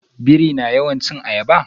Biri na yawan cin ayaba.